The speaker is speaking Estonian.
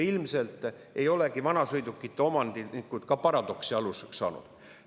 Ilmselt on ka vanasõidukite omanikud paradoksi aluseks saanud.